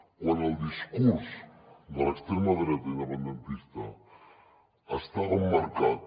quan el discurs de l’extrema dreta independentista estava emmarcat